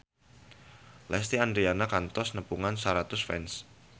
Lesti Andryani kantos nepungan ratusan fans